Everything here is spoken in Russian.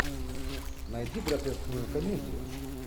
найти гротескную комедию